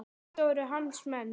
Þetta voru hans menn.